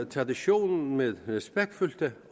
traditionen med respektfulde